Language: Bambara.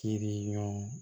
Kiriɲɔgɔn